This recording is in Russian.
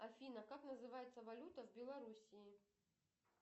афина как называется валюта в белоруссии